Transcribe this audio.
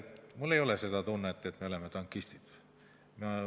Mul ei ole seda tunnet, et me oleme tankistid.